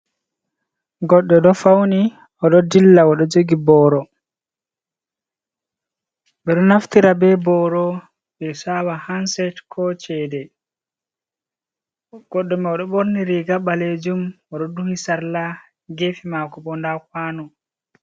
Goɗ&o do fauni oɗo dilla oɗo jogi boro, bedo naftira be boro ɓe sawa hanset ko cede, goɗɗo mai oɗo borni riga balejum oɗo duhi sarla, gefe mako bo nda kwanu.